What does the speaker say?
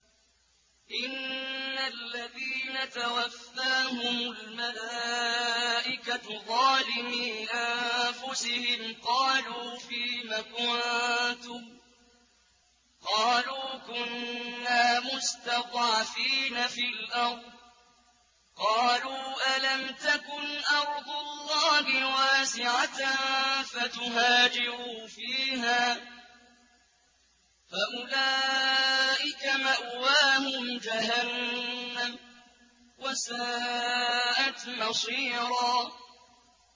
إِنَّ الَّذِينَ تَوَفَّاهُمُ الْمَلَائِكَةُ ظَالِمِي أَنفُسِهِمْ قَالُوا فِيمَ كُنتُمْ ۖ قَالُوا كُنَّا مُسْتَضْعَفِينَ فِي الْأَرْضِ ۚ قَالُوا أَلَمْ تَكُنْ أَرْضُ اللَّهِ وَاسِعَةً فَتُهَاجِرُوا فِيهَا ۚ فَأُولَٰئِكَ مَأْوَاهُمْ جَهَنَّمُ ۖ وَسَاءَتْ مَصِيرًا